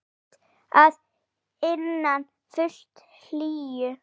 Rúmt að innan, fullt hlýju.